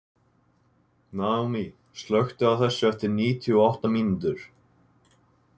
Naomí, slökktu á þessu eftir níutíu og átta mínútur.